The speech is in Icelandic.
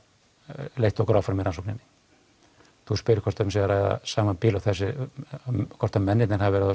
leitt okkur áfram í rannsókninni þú spyrð hvort um sé að ræða sama bíl hvort að mennirnir hafi verið á